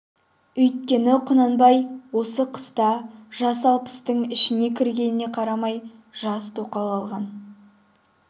үйткені құнанбай осы қыста жасы алпыстың ішіне кіргеніне қарамай жас тоқал алған